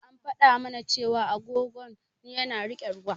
An faɗa mana cewa agogon yana riƙe ruwa.